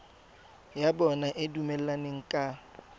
ya bona e dumelaneng ka